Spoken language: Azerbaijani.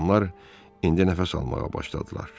Adamlar indi nəfəs almağa başladılar.